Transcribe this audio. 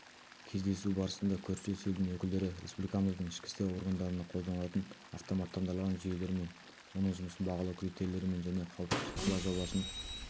кездесу барысында көршілес елдің өкілдері республикамыздың ішкі істер органдарында қолданылатын автоматтандырылған жүйелермен оның жұмысын бағалау критерийлерімен және қауіпсіз қала жобасын